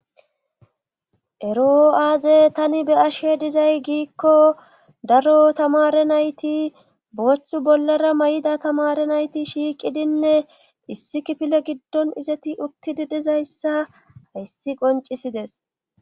Ero'o aaze tani be ashe dizay giikko daro tamare nayti booththu bollara may'ida tamare nayti shiiqidinne issi kifile giddon izeti uttidi dizayssa hayssi qoncisides.